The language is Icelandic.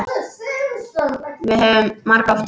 Við höfum margoft hist.